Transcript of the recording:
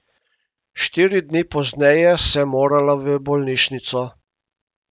Štiri dni pozneje sem morala v bolnišnico.